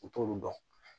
U t'olu dɔn